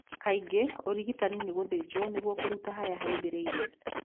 Kaingĩ ũrigitani nĩ gũthĩnjwo nĩgui kũruta harĩa haumbĩrĩire.